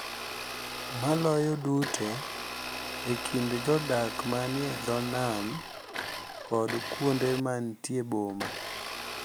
Maloyo duto e kind jodak ma ni e dho nam kod kuonde ma nitie boma.